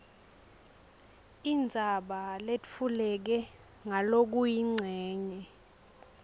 indzaba letfuleke ngalokuyincenye